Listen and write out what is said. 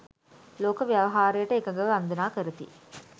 ලෝක ව්‍යවහාරයට එකඟව වන්දනා කරති.